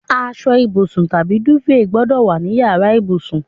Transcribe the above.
Asọ ìbùsùn tàbí dúfèè gbọ́dọ̀ wà ní yàrá ìbùsùn.